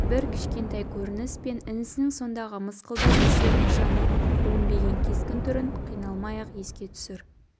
бір кішкентай көрініс пен інісінің сондағы мысқалдай тіршілік нышаны білінбеген кескін-түрін қиналмай-ақ еске түсір